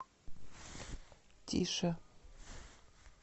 тише